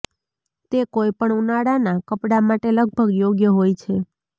તે કોઈ પણ ઉનાળાના કપડાં માટે લગભગ યોગ્ય હોય છે